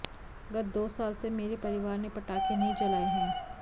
गत दो साल से मेरे परिवार ने पटाखे नहीं जलाए हैं